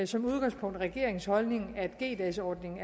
som udgangspunkt regeringens holdning at g dagsordningen